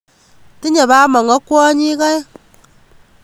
Tinye bamongo kwonyik aeng